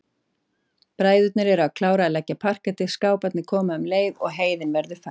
Bræðurnir eru að klára að leggja parkettið, skáparnir koma um leið og heiðin verður fær.